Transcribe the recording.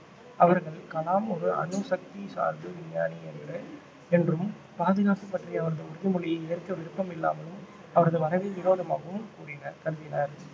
அவர்கள் கலாம் ஒரு அணுசக்தி சார்பு விஞ்ஞானி என்று என்றும் பாதுகாப்பு பற்றிய அவரது உறுதிமொழியை ஏற்க விருப்பம் இல்லாமலும் அவரது வரவை விரோதமாகவும் கூறினார் கருதினர்